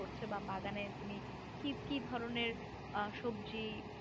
করছ বা বাগানে তুমি কি কি ধরনের অ্যাঁ সবজি